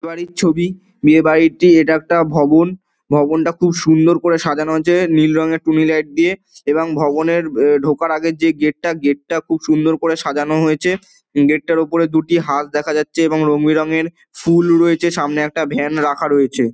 বিয়েবাড়ির ছবি বিয়েবাড়িটি এটা একটা ভবন। ভবনটা খুব সুন্দর করে সাজানো রয়েছে নীল রঙের টুনি লাইট দিয়ে এবং ভবনের ঢোকার আগে যে গেটটা গেটটা খুব সুন্দর করে সাজানো হয়েছে। গেটটার ওপরে দুটি হাঁস দেখা যাচ্ছে এবং রং বে রং এর ফুল রয়েছে। সামনে একটা ভ্যান রাখা রয়েছে।